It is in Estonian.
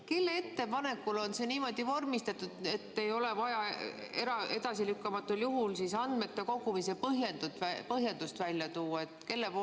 Kelle ettepanekul on see niimoodi vormistatud, et ei ole vaja edasilükkamatul juhul andmete kogumise põhjendust välja tuua?